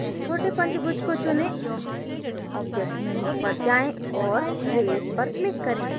छोटे पंचभुज को चुनें object menu पर जाएँ और raise पर click करें